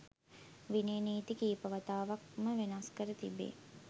විනය නීති කීප වතාවක් ම වෙනස් කර තිබේ.